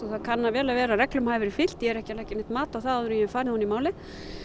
það kann vel að vera að reglum hafi verið fylgt ég er ekki að leggja neitt mat á það áður en ég hef farið ofan í málið